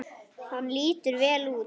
Hann lítur vel út.